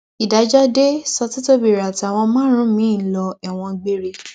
ìdájọ dé ṣọtítọbírẹ àtàwọn márùnún miín ń lo ẹwọn gbére